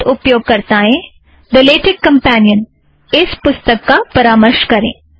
उन्नत उपयोगकर्ताएं the LaTeX companion इस पुस्तक का परामर्श करें